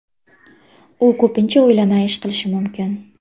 U ko‘pincha o‘ylamay ish qilishi mumkin.